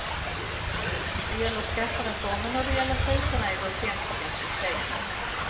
Det gäller skattereformen och det gäller kriserna i de offentliga systemen.